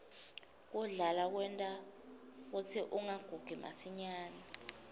kudlala kwenta kutsi ungagugi masinyane